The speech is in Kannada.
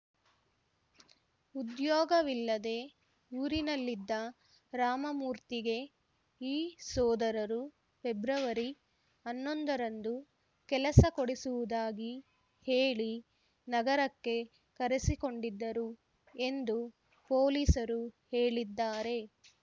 ಉದ್ಯೋಗವಿಲ್ಲದೆ ಊರಿನಲ್ಲಿದ್ದ ರಾಮಮೂರ್ತಿಗೆ ಈ ಸೋದರರು ಫೆಬ್ರವರಿ ಹನ್ನೊಂದರಂದು ಕೆಲಸ ಕೊಡಿಸುವುದಾಗಿ ಹೇಳಿ ನಗರಕ್ಕೆ ಕರೆಸಿಕೊಂಡಿದ್ದರು ಎಂದು ಪೊಲೀಸರು ಹೇಳಿದ್ದಾರೆ